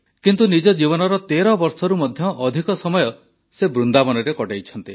କିନ୍ତୁ ନିଜ ଜୀବନର ୧୩ ବର୍ଷରୁ ମଧ୍ୟ ଅଧିକ ସମୟ ସେ ବୃନ୍ଦାବନରେ କଟାଇଛନ୍ତି